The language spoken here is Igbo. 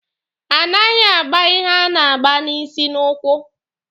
A naghị agba ihe a na-agba n'isi n'ụkwụ.